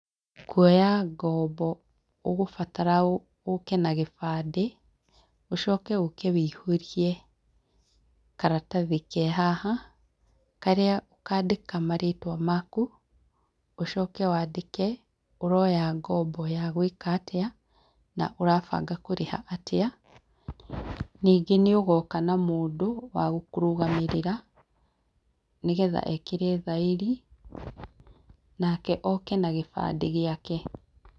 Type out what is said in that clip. Kuoya ngombo ũgũbatara ũke na gĩbandĩ, ũcoke ũke wĩihũrie karatathi ke haha, karia ũkandĩka marĩtwa maku, ũcoke wandĩke ũroya ngombo ya gwĩka atĩa na ũrabanga kũrĩha atĩa ningĩ nĩũgoka na mũndũ wa gũkũrũgamĩrĩra nĩgetha ekĩre thairi nake oke na gĩbandĩ giake.